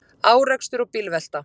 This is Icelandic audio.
Árekstur og bílvelta